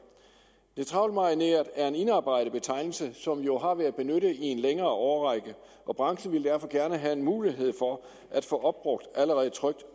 neutralmarineret er en indarbejdet betegnelse som jo har været benyttet i en længere årrække og branchen ville derfor gerne have mulighed for at få opbrugt allerede trykt